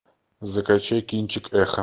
закачай кинчик эхо